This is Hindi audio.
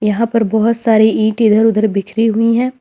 यहां पर बहोत सारे ईंट इधर उधर बिखरी हुई है।